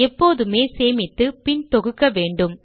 எப்போதுமே சேமித்து பின் தொகுக்க வேண்டும்